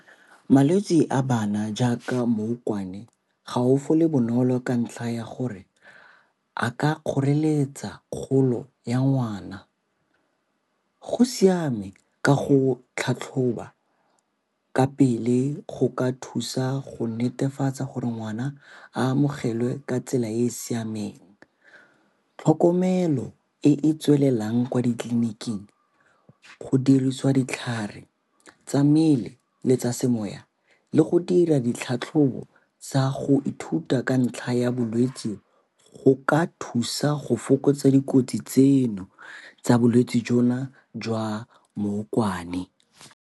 Malwetse a bana jaaka mmokwane ga o fole bonolo ka ntlha ya gore a ka kgoreletsa kgolo ya ngwana. Go siame ka go tlhatlhoba ka pele go ka thusa go netefatsa gore ngwana a amogelwe ka tsela e e siameng. Tlhokomelo e e tswelelang kwa ditleliniking, go dirisiwa ditlhare tsa mmele le tsa semoya le go dira ditlhatlhobo tsa go ithuta ka ntlha ya bolwetsi go ka thusa go fokotsa dikotsi tseno tsa bolwetsi jona jwa mmokwane.